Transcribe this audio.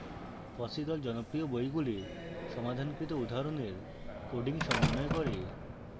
fossee the জনপ্রিয় বইগুলির সমাধানগুলির উদাহরণের coding সমন্বয় করে